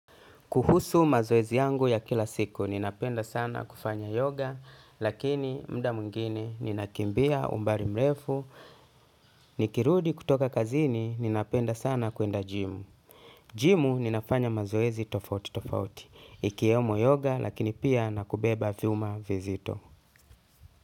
Kuhusu mazoezi yangu ya kila siku, ninapenda sana kufanya yoga, lakini muda mwingine, ninakimbia umbali mrefu, nikirudi kutoka kazini, ninapenda sana kuenda jimu. Jimu, ninapanya mazoezi tofauti tofauti, ikiyemo yoga, lakini pia nakubeba viuma vizito.